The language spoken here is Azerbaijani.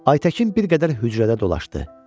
Aytəkin bir qədər hücrədə dolaşdı.